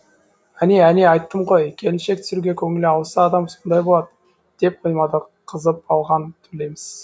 әне әне айттым ғой келіншек түсіруге көңілі ауса адам сондай болад деп қоймады қызып алған төлеміс